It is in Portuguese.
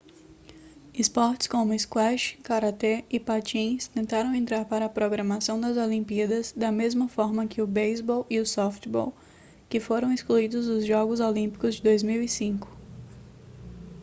esportes como squash caratê e patins tentaram entrar para a programação das olimpíadas da mesma forma que o beisebol e o softbol que foram excluídos dos jogos olímpicos de 2005